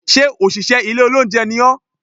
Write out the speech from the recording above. Sé òṣìṣẹ́ ilé olóúnjẹ ni ọ́?